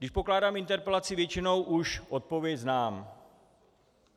Když pokládám interpelaci, většinou už odpověď znám.